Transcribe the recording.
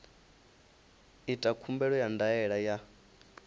ita khumbelo ya ndaela ya